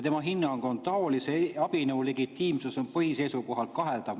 Tema hinnang on, et taolise abinõu legitiimsus on põhi seisukohalt kaheldav.